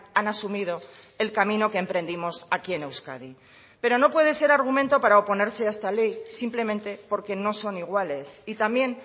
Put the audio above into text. han asumido el camino que emprendimos aquí en euskadi pero no puede ser argumento para oponerse a esta ley simplemente porque no son iguales y también